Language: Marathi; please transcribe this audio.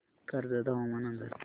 कर्जत हवामान अंदाज